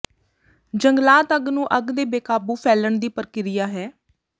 ਜੰਗਲਾਤ ਅੱਗ ਨੂੰ ਅੱਗ ਦੇ ਬੇਕਾਬੂ ਫੈਲਣ ਦੀ ਪ੍ਰਕਿਰਿਆ ਹੈ